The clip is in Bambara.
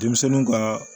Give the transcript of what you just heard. Denmisɛnninw ka